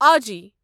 آجی